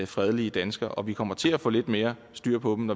fredelige danskere og vi kommer til at få lidt mere styr på dem